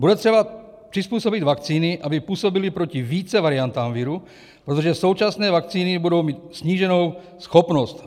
Bude třeba přizpůsobit vakcíny, aby působily proti více variantám viru, protože současné vakcíny budou mít sníženou schopnost.